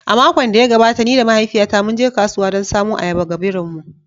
A makon da ya gabata, ni da mahaifiyata mun je kasuwa don samo ayaba ga birin mu